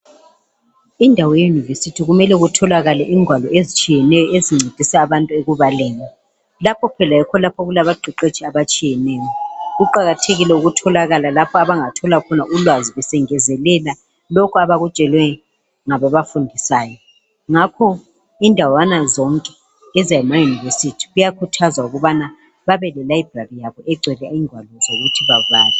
Indawo yeyunivesithi kumele kutholakale lengwalo ezitshiyeneyo ezincedisa abantu ekubaleni. Lapho phela yikho okulabaqeqetshi abatshiyeneyo. Kuqakathekile ukutholakala lapho abangathola khona ulwazi besengezelela kulokho abakutshelwe ngababafundisayo. Ngakho indawana zonke zemayunivesithi kuyakhuthwazwa ukuthi babe lelayibhurari yabo egcwele ingwalo ukuthi babale.